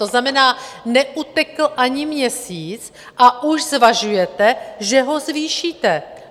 To znamená, neutekl ani měsíc a už zvažujete, že ho zvýšíte.